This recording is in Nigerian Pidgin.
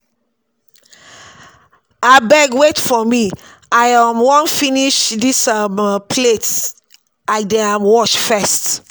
Abeg wait for me, I um wan finish dis um plates I dey um wash first